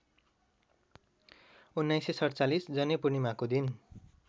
१९४७ जनैपूर्णिमाको दिन